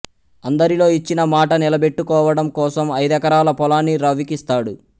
అందరిలో ఇచ్చిన మాట నిలబెట్టుకోవడం కోసం ఐదెకరాల పొలాన్ని రవికిస్తాడు